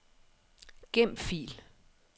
Gem fil.